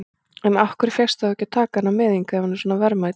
En af hverju fékkstu þá að taka hana með hingað, ef hún er svona verðmæt?